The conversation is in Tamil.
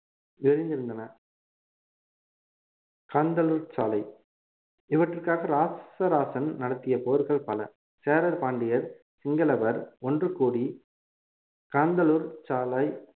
விரிந்திருந்தன காந்தளூர்ச் சாலை இவற்றிற்காக ராசராசன் நடத்திய போர்கள் பல சேரர் பாண்டியர் சிங்களவர் ஒன்று கூடி காந்தளூர்ச் சாலை